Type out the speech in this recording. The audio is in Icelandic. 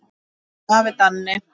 Elsku afi Danni.